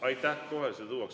Aitäh!